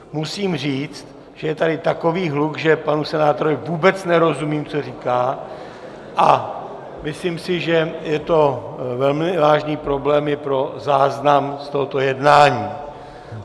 Musím říct, že je tady takový hluk, že panu senátorovi vůbec nerozumím, co říká, a myslím si, že je to velmi vážný problém i pro záznam z tohoto jednání.